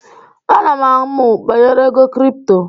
Ana m amụ banyere ego kripto.